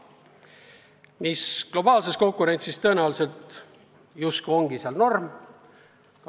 Mis globaalses konkurentsis tõenäoliselt justkui ongi norm.